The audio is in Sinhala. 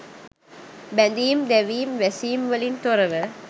බැඳීම් දැවීම් වැසීම් වලින් තොරව